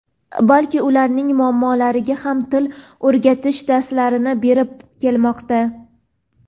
balki ularning muallimlariga ham til o‘rgatish darslarini berib kelmoqda.